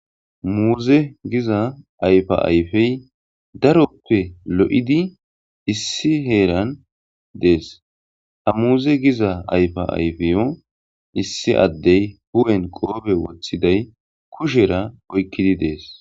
Muze giza ayfa ayfe darope lo'idi issi heran des ha muze giza ayfa ayfiyo issi adey hu'en qophe wotiday kushera oykidi des.